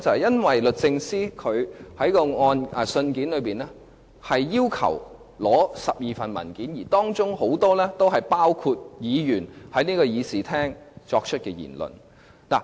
因為律政司在信件中要求索取12份文件，而當中很多都是議員在議事廳於立法會會議中作出的言論。